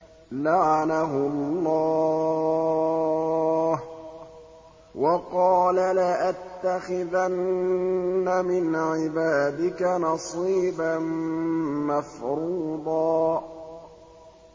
لَّعَنَهُ اللَّهُ ۘ وَقَالَ لَأَتَّخِذَنَّ مِنْ عِبَادِكَ نَصِيبًا مَّفْرُوضًا